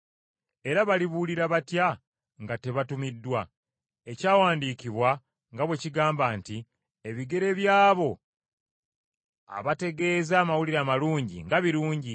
Era balibuulira batya nga tebatumiddwa? Ekyawandiikibwa nga bwe kigamba nti, “Ebigere by’abo abategeeza amawulire amalungi, nga birungi.”